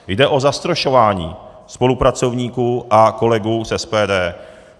Jde o zastrašování spolupracovníků a kolegů z SPD.